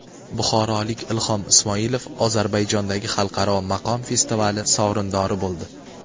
Buxorolik Ilhom Ismoilov Ozarbayjondagi xalqaro maqom festivali sovrindori bo‘ldi.